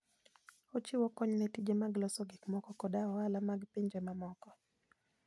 Ochiwo kony ne tije mag loso gik moko koda ohala mag pinje mamoko.